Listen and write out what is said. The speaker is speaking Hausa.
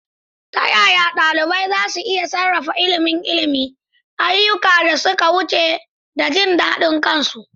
Ta yaya ɗalibai za su iya sarrafa ilimin ilimi, ayyukan da suka wuce, da jin daɗin kansu?